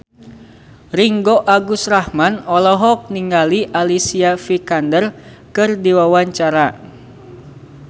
Ringgo Agus Rahman olohok ningali Alicia Vikander keur diwawancara